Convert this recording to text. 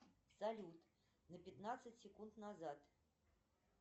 салют на пятнадцать секунд назад